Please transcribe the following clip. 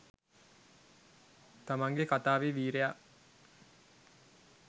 තමන්ගෙ කතාවෙ වීරයා